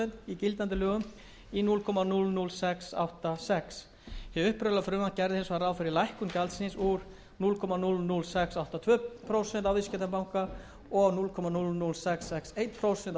gildandi lögum í núll komma núll núll sex átta sex prósent hið upprunalega frumvarp gerði hins vegar ráð fyrir lækkun gjaldsins úr núll komma núll núll sex átta tvö prósent á viðskiptabanka og núll komma núll núll sex sex eitt